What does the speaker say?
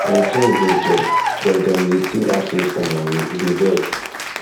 my friends get job but get job but dem dey still ask me for moni e dey vex